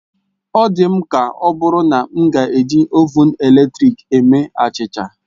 Ọ dị m ka ọbụrụ na m ga-eji Ovụn eletrik eme achịcha